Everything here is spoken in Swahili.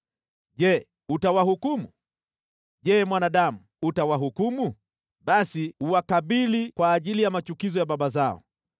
“Je, utawahukumu? Je, mwanadamu, utawahukumu? Basi uwakabili kwa ajili ya machukizo ya baba zao